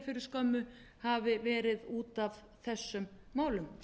fyrir skömmu hafi verið út af þessum málum